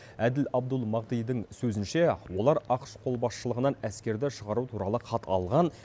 әділ абдул махдидің сөзінше олар ақш қолбасшылығынан әскерді шығару туралы хат алған